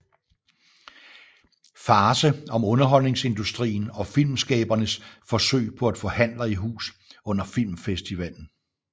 Farce om underholdningsindustrien og filmskabernes forsøg på at få handler i hus under filmfestivalen